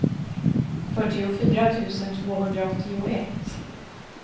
fyrtiofyra tusen tvåhundraåttioett